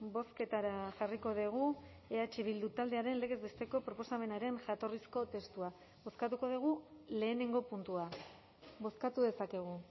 bozketara jarriko dugu eh bildu taldearen legez besteko proposamenaren jatorrizko testua bozkatuko dugu lehenengo puntua bozkatu dezakegu